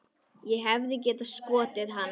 Ég hefði getað skotið hann.